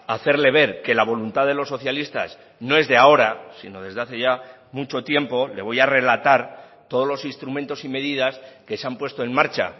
hacerle ver que la voluntad de los socialistas no es de ahora sino desde hace ya mucho tiempo le voy a relatar todos los instrumentos y medidas que se han puesto en marcha